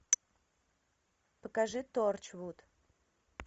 покажи торчвуд